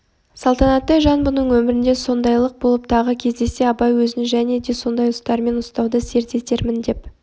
салтанаттай жан бұның өмірінде сондайлық болып тағы кездессе абай өзін және де сондай ұстармын ұстауды серт етермін деп